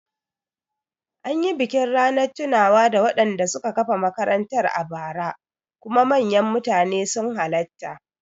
Anyi bikin Ranar tunawa da wanda suka kafa makarantar a bara kuma manyan mutane sun halatta